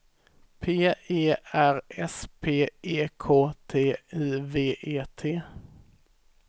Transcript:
P E R S P E K T I V E T